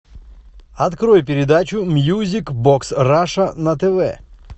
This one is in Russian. открой передачу мьюзик бокс раша на тв